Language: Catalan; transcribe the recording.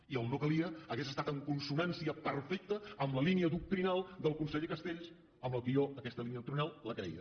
i el no calia hauria estat en consonància perfecta amb la línia doctrinal del conseller castells amb el qual jo aquesta línia doctrinal la creia